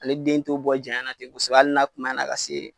Ale den t'o bɔ janya na ten kosɛbɛ ali na kumaya la ka se.